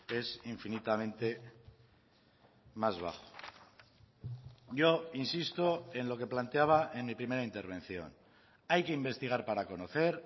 es infinitamente más bajo yo insisto en lo que planteaba en mi primera intervención hay que investigar para conocer